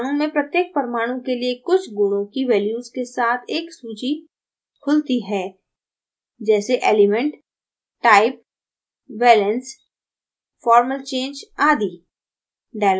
अणु में प्रत्येक परमाणु के लिए कुछ गुणों की values के साथ एक सूची खुलती है जैसे element type valence formal charge आदि